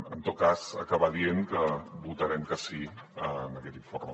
en tot cas acabar dient que votarem que sí en aquest informe